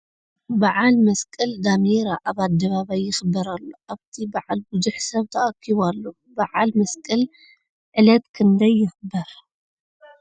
በዓል መስቀል ዳሜራ ኣብ ኣደባባይ ይክበር ኣሎ ኣብቲ በዓል ብዙሕ ሰብ ታኣኪቡ ኣሎ ። ብዓል መስቀል ዕለት ክንደይ ይክበር ?